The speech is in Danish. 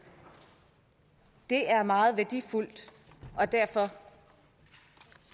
det er meget værdifuldt og derfor